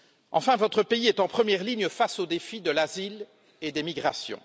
Enfin, votre pays est en première ligne face au défi de l'asile et des migrations.